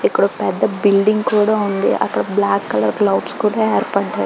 ఇక్కడ ఒక పెద్ద బిల్డింగ్ కూడా ఉంది అక్కడ బ్లాక్ కలర్ క్లౌడ్స్ కూడా ఏర్పడాయి